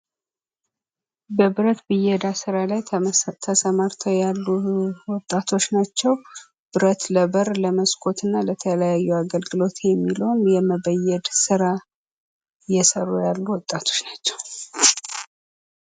በብረት ብየዳ ስራ ላይ ተሰማርተው ያሉ ወጣቶች ናቸው። ብረት ለበር፣ ለመስኮትና ለተለያዩ አገልግሎት የሚውለውን የመበየድ ስራ እየሰሩ ያሉ ወጣቶች ናቸው።